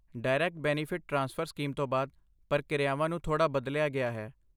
Direct benefit transfer scheme ਤੋਂ ਬਾਅਦ, ਪ੍ਰਕਿਰਿਆਵਾਂ ਨੂੰ ਥੋੜ੍ਹਾ ਬਦਲਿਆ ਗਿਆ ਹੈ।